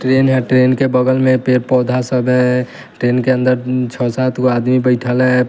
Train है train के बगल में पेड़ पौधा सब है ट्रेन के अंदर छह सात को आदमी बैठाला है।